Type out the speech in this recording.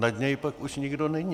Nad něj už pak nikdo není.